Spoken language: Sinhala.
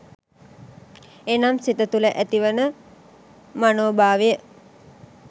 එනම් සිත තුළ ඇතිවන මනෝ භාවය